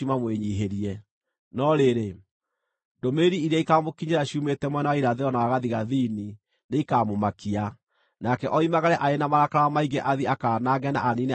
No rĩrĩ, ndũmĩrĩri iria ikaamũkinyĩra ciumĩte mwena wa irathĩro na wa gathigathini nĩikamũmakia, nake oimagare arĩ na marakara maingĩ athiĩ akaanange na aniine andũ aingĩ biũ.